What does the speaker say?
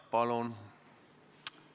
Palun!